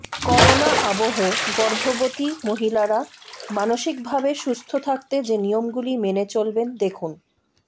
corona আবহে গর্ভবতী মহিলারা মানসিকভাবে সুস্থ থাকতে যে নিয়মগুলি মেনে চলবেন দেখুন